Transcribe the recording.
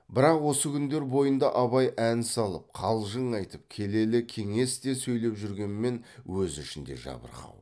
бірақ осы күндер бойында абай ән салып қалжың айтып келелі кеңес те сөйлеп жүргенмен өз ішінде жабырқау